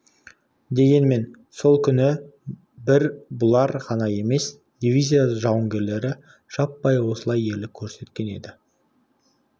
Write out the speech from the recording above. дегенмен сол күні бір бұлар ғана емес дивизия жауынгерлері жаппай осылай ерлік көрсеткен еді